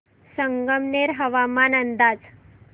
संगमनेर हवामान अंदाज